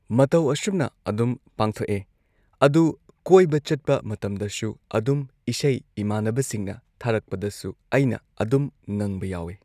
ꯃꯇꯧ ꯑꯁꯨꯝꯅ ꯑꯗꯨꯝ ꯄꯥꯡꯊꯣꯛꯑꯦ ꯑꯗꯨ ꯀꯣꯏꯕ ꯆꯠꯄ ꯃꯇꯝꯗꯁꯨ ꯑꯗꯨꯝ ꯏꯁꯩ ꯢꯃꯥꯟꯅꯕꯁꯤꯡꯅ ꯊꯥꯔꯛꯄꯗꯁꯨ ꯑꯩꯅ ꯑꯗꯨꯝ ꯉꯪꯕ ꯌꯥꯎꯋꯦ꯫